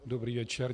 Dobrý večer.